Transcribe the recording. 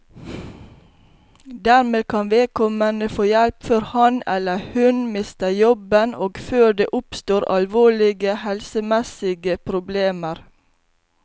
Dermed kan vedkommende få hjelp før han, eller hun, mister jobben og før det oppstår alvorlige helsemessige problemer.